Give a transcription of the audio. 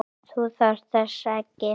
Þú þarft þess ekki.